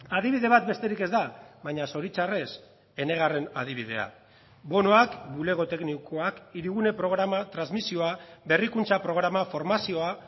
adibide bat besterik ez da baina zoritxarrez enegarren adibidea bonoak bulego teknikoak hirigune programa transmisioa berrikuntza programa formazioa